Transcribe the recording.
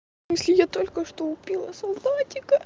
если я только что убила солдатика